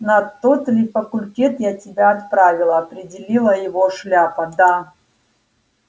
на тот ли факультет я тебя отправила опередила его шляпа да